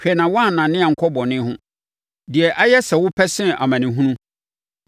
Hwɛ na woannane ankɔ bɔne ho, deɛ ayɛ sɛ wopɛ sene amanehunu.